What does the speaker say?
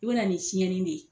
I be na ni tiɲɛni de ye.